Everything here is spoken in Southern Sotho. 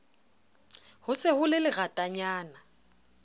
ho se ho le leratanyana